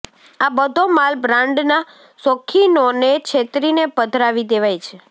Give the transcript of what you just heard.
આ બધો માલ બ્રાન્ડના શોખીનોને છેતરીને પધરાવી દેવાય છે